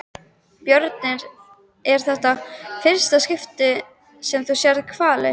Björn: Er þetta í fyrsta skipti sem þú sérð hvali?